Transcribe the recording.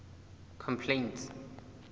complaints